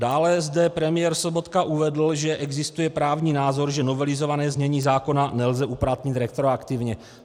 Dále zde premiér Sobotka uvedl, že existuje právní názor, že novelizované znění zákona nelze uplatnit retroaktivně.